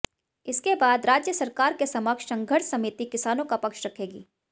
इसके बाद राज्य सरकार के समक्ष संघर्ष समिति किसानों का पक्ष रखेगी